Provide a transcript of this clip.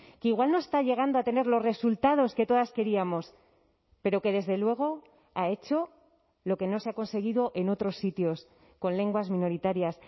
que igual no está llegando a tener los resultados que todas queríamos pero que desde luego ha hecho lo que no se ha conseguido en otros sitios con lenguas minoritarias